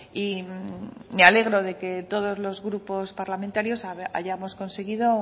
y me alegro que todos los grupos parlamentarios hayamos conseguido